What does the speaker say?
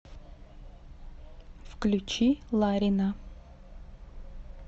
включи ларина